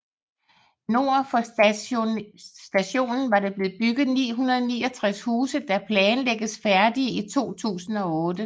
Nord for stadionet vil der blive bygget 969 huse der planlægges færdige i 2008